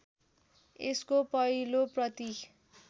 यसको पहिलो प्रति